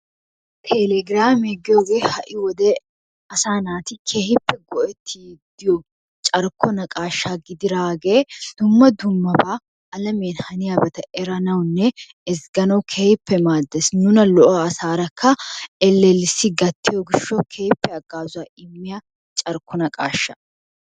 Teelegiraame giyogee ha"i wode asaa naati keehippe go'ettiiddi diyo carkko naqaashaa gidiraagee dumma dummabaa alamee haniyobata eranawunne ezgganawu keehippe maaddees. Nuna lo'a asaarakka ellellissi gattiyo gishshawu haggaazaa immiya carkko naqaasha.